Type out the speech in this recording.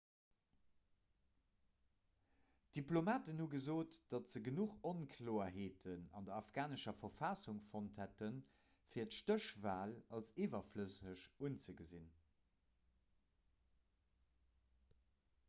diplomaten hu gesot datt se genuch onkloerheeten an der afghanescher verfassung fonnt hätten fir d'stéchwal als iwwerflësseg unzegesinn